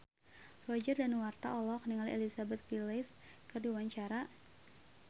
Roger Danuarta olohok ningali Elizabeth Gillies keur diwawancara